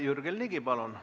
Jürgen Ligi, palun!